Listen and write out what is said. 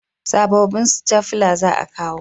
Sabobbin stafila za a kawo